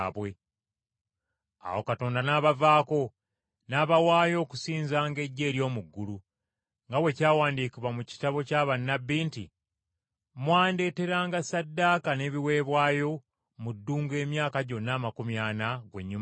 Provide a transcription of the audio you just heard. Awo Katonda n’abavaako, n’abawaayo okusinzanga eggye ery’omu ggulu, nga bwe kyawandiikibwa mu kitabo kya bannabbi nti, “ ‘Mwandeeteranga ssaddaaka n’ebiweebwayo mu ddungu emyaka gyonna amakumi ana, ggw’ennyumba ya Isirayiri?